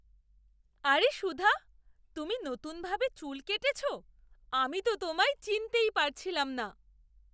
আরে সুধা, তুমি নতুনভাবে চুল কেটেছো! আমি তো তোমায় চিনতেই পারছিলাম না!